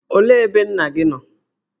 Olee ebe nna gị nọ?